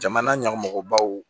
Jamana ɲɛmɔgɔbaw